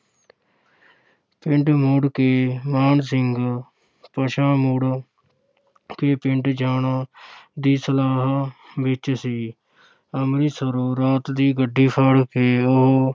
ਪਿੰਡ ਮੁੜ ਕੇ ਮਾਨ ਸਿੰਘ ਪਿਛਾਂਹ ਮੁੜ ਕੇ ਪਿੰਡ ਜਾਣਾ ਦੀ ਸਲਾਹਾਂ ਵਿੱਚ ਸੀ ਅੰਮ੍ਰਿਤਸਰੋਂ ਰਾਤ ਦੀ ਗੱਡੀ ਫੜ ਕੇ ਉਹ